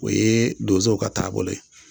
O ye donsow ka taabolo ye